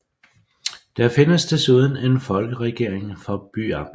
Der findes desuden en Folkeregering for byamtet